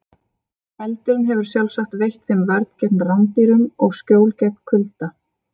Feldurinn hefur sjálfsagt veitt þeim vörn gegn rándýrum og skjól gegn kulda.